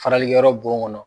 Faralikɛ yɔrɔ bon kɔnɔ.